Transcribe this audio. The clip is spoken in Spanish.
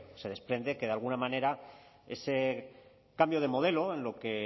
se desprende que de alguna manera ese cambio de modelo en lo que